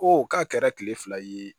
Ko k'a kɛra kile fila ye